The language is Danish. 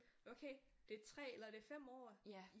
Okay det er 3 eller det er 5 år